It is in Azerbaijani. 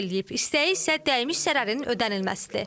İstəyi isə dəymiş zərərin ödənilməsidir.